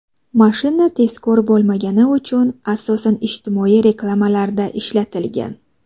Mashina tezkor bo‘lmagani uchun asosan ijtimoiy reklamalarda ishlatilgan.